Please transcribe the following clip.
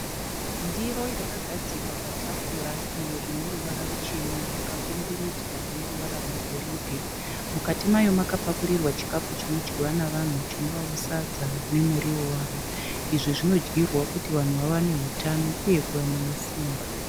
Ndiro yakagadzikwa patafura iyo ine ruvara ruchena yakakomberedzwa neruvara rwegoridhe. Mukati mayo makapakurirwa chikafu chinodyiwa navanhu chinovawo sadza nemuriwo waro. Izvi zvinodyirwa kuti vanhu vawane utano uye kuwanawo simba.